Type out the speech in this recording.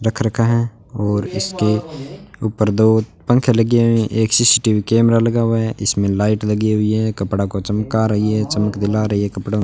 रख रखा है और इसके ऊपर दो पंखे लगे हुएं एक सी_सी_टी_वी कैमरा लगा हुआ है इसमें लाइट लगी हुई है कपड़ा को चमका रही है चमक दिला रही है कपड़ो --